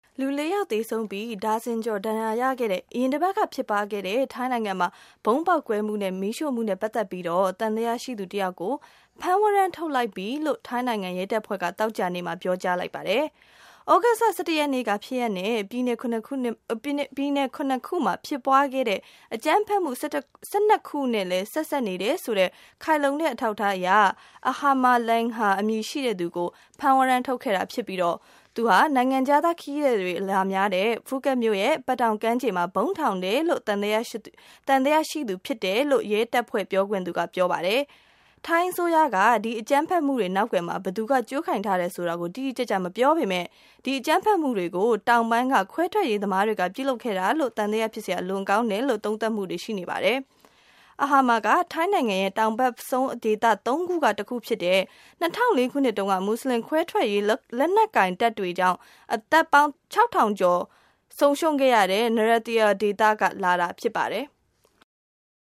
လူ ၄ ယောက် သေဆုံးပြီး ဒါဇင်ကျော်ကို ဒဏ်ရာရစေခဲ့တဲ့ အရင်အပတ်က ဖြစ်ပွား ခဲ့တဲ့ ဗုံးပေါက်ကွဲမှုနဲ့ မီးရှို့မှုနဲ့ပတ်သက်ပြီး သံသယရှိသူ တစ်ယောက်ကို ဖမ်းဝရမ်း ထုတ်လိုက်ပြီလို့ ထိုင်းနိုင်ငံ ရဲတပ်ဖွဲ့က သောကြာနေ့ မှာ ပြောကြားလိုက်ပါတယ်။ သြဂုတ်လ ၁၁ ရက်နေ့က ဖြစ်ရပ်နဲ့ ပြည်နယ် ၇ ခု မှာ ဖြစ်ပွားခဲ့တဲ့ အကြမ်းဖက်မှု ၁၂ခုနဲ့ လည်း ဆက်စပ်နေတယ်ဆိုတဲ့ ခိုင်လုံတဲ့ အထောက်အထားနဲ့ Ahama Lengha အမည်ရှိသူကို ဖမ်းဝရမ်းထုတ်ခဲ့တာ ဖြစ်ပြီး သူဟာ နိုင်ငံခြားခရီးသည်တွေ အလာများတဲ့ Phuket မြို့ရဲ့ Patong ကမ်းခြေမှာ ဗုံးထောင်တယ်လို့ သံသယရှိသူ ဖြစ်တယ်လို့ ရဲတပ်ဖွဲ့ပြောခွင့်ရသူက ပြောပါတယ်။ ထိုင်းအစိုးရက ဒီအကြမ်းဖက်မှုတွေ နောက်ကွယ်မှာ ဘယ်သူက ကြိုးကိုင်ထားတယ် ဆိုတာကိုတော့ တိတိကျကျ မပြောပေမဲ့ ဒီအကြမ်းဖက်မှုတွေကို တောင်ပိုင်းက ခွဲထွက်ရေးသမားတွေက ပြုလုပ်ခဲ့တာလို့ သံသယဖြစ်စရာ အလွန်ကောင်းတယ်လို့ သုံးသပ်မှုတွေ ရှိနေပါတယ်။ Ahama ဟာ ထိုင်းနိုင်ငံရဲ့ တောင်ဖက်ဆုံးဒေသ ၃ ခုက တစ်ခုဖြစ်တဲ့၊၂၀၀၄ ခုနှစ်တုန်းက မူဆလင် ခွဲထွက်ရေး လက်နက်ကိုင်တပ်တွေကြောင့် အသက်ပေါင်း ၆၀၀၀ ကျော်ဆုံးရှုံးခဲ့ရတဲ့ Narathiwat ဒေသ က လာတာဖြစ်ပါတယ်။